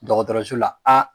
Dɔgɔtɔrɔso la